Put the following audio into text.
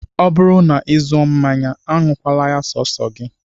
Ọ bụrụ na ị zụọ mmanya, aṅụkwala ya sọọsọ gị